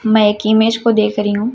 मैं एक इमेज को देख रही हूं।